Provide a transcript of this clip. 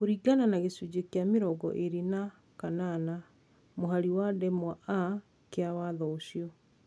Kũringana na gĩcunjĩ kĩa mĩrongo ĩrĩ na kanana mũhari wa ndemwa a kĩa watho ũcio,